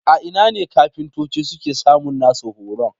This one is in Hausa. A ina ne kafintoci suke samun nasu horon?